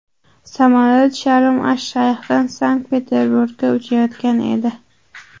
Samolyot Sharm-ash-Shayxdan Sankt-Peterburgga uchayotgan edi.